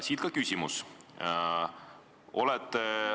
Siit ka küsimus.